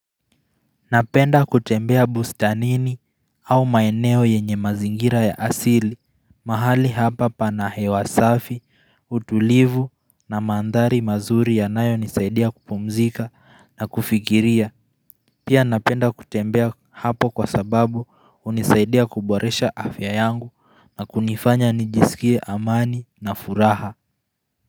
Napenda kutembea bustanini au maeneo yenye mazingira ya asili mahali hapa pana hewa safi, utulivu na mandhari mazuri yanayo nisaidia kupumzika na kufikiria Pia napenda kutembea hapo kwa sababu unisaidia kuboresha afya yangu na kunifanya nijisikie amani na furaha.